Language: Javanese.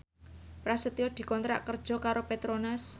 Prasetyo dikontrak kerja karo Petronas